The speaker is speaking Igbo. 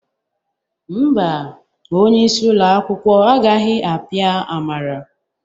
Mba, onye isi ụlọ akwụkwọ agaghị apịa Amara